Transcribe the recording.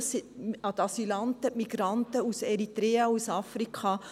Das sind Asylanten, Migranten aus Eritrea, aus Afrika.